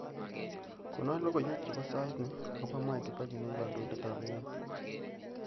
Konon logoywek chebo sait ni agoba mwai kibaki negikandoindetab emet